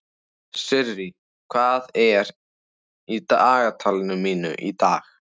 Sirrí, hvað er í dagatalinu mínu í dag?